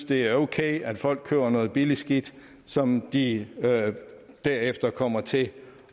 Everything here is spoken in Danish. det er okay at folk køber noget billigt skidt som de derefter kommer til